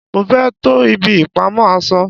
mo fé to ibi ìpamọ́ aṣọ